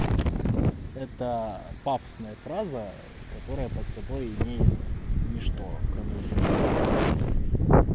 это пафосная фраза которая под собой имеет ничто кроме утверждения